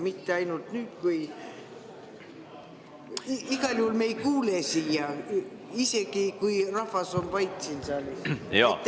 Igal juhul me ei kuule siia, isegi kui rahvas on saalis vait.